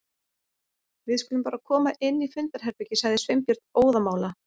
Við skulum bara koma inn í fundarherbergi- sagði Sveinbjörn óðamála.